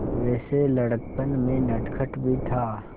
वैसे लड़कपन में नटखट भी था